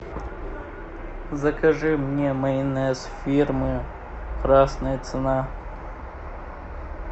закажи мне майонез фирмы красная цена